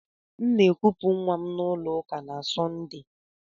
M na akupu nwa m na ulo uka na Sọnde.